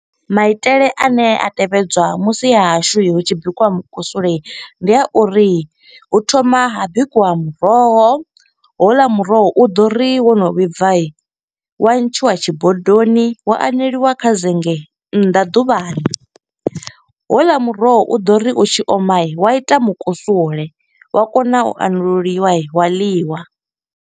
Maitele ane a tevhedzwa musi ha hashu hu tshi bikiwa mukusule, ndi a uri hu thoma ha bikiwa muroho. Houḽa muroho u ḓo ri wono vhibva, wa ntshiwa tshi bodoni, wa aneliwa kha zenge nnḓa ḓuvhani. Houḽa muroho u ḓo ri u tshi oma wa ita mukusule, wa kona u anululiwa wa ḽiwa,